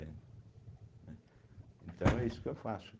né, então é isso que eu faço.